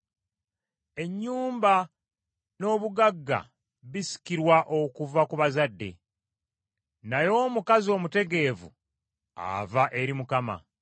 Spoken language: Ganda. Ennyumba n’obugagga bisikirwa okuva ku bazadde, naye omukazi omutegeevu ava eri Mukama .